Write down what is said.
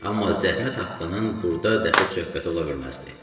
Amma zəhmət haqqının burda dəxli söhbəti ola bilməzdi.